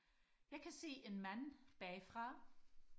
jeg kan se en mand bagfra